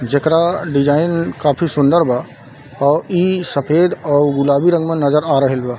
जेकरा डिज़ाइन काफी बहुत सुंदर बा अ इ सफ़ेद अउ गुलाबी रंग में नजर आ रहल बा।